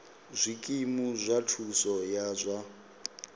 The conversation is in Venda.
zwikimu zwa thuso ya zwa